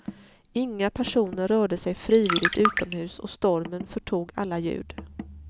Inga personer rörde sig frivilligt utomhus och stormen förtog alla ljud.